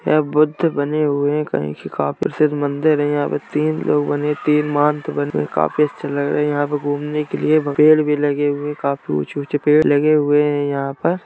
यहां बुद्ध बने हुए है। कहेकी मन्दिर है यहां पे तीन लोगों ने मोन्क काफी अच्छे लग रहे है यहां पे घूमने के लिए पर भी लगे हुए है घूमने के लिए पेड़ भी लगे हुए हैं काफी ऊंचे-ऊंचे पेड़ भी लगे हुए हैं यहां पर --